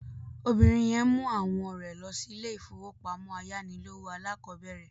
Obìnrin yẹn mú àwọn rẹ̀ lọ sí ilé-ìfowópamọ́sí ayánilówó alákọ̀bẹ̀rẹ̀